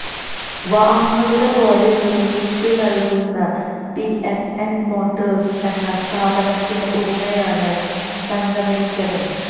വാഹനങ്ങളുടെ ബോഡി നിർമ്മിച്ചുനൽകുന്ന PSN motors എന്ന സ്ഥാപനത്തിന്റെ ഉടമയാണ് സംഗമേശ്വരൻ